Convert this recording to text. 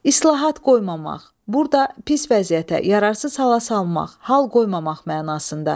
İslahat qoymamaq, burda pis vəziyyətə, yararsız hala salmaq, hal qoymamaq mənasında işlənib.